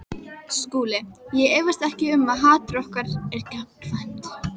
SKÚLI: Ég efast ekki um að hatur okkar er gagnkvæmt.